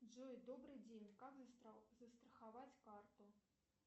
джой добрый день как застраховать карту